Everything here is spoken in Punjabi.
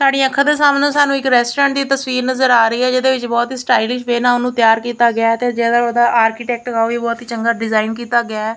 ਸਾਡੀ ਅੱਖਾਂ ਦੇ ਸਾਹਮਣੇ ਸਾਨੂੰ ਇੱਕ ਰੈਸਟੋਰੈਂਟ ਦੀ ਤਸਵੀਰ ਨਜ਼ਰ ਆ ਰਹੀ ਹ ਜਿਹਦੇ ਵਿੱਚ ਬਹੁਤ ਹੀ ਸਟਾਈਲਿਸ਼ ਵੇ ਨਾਲ ਉਹਨੂੰ ਤਿਆਰ ਕੀਤਾ ਗਿਆ ਐ ਤੇ ਜਿਹੜਾ ਉਹਦਾ ਆਰਕੀਟੈਕਚਰ ਆ ਉਹ ਵੀ ਬਹੁਤ ਹੀ ਚੰਗਾ ਡਿਜ਼ਾਇਨ ਕੀਤਾ ਗਿਆ ਐ।